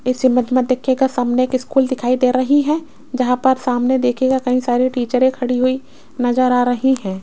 इसे इमेज देखिएगा सामने एक स्कूल दिखाई दे रही है जहां पर सामने दिखेगा कहीं सारे टीचर खड़ी हुई नजर आ रही है।